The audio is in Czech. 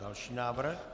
Další návrh.